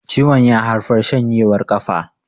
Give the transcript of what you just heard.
ciwon ya haifar shanjewar kafa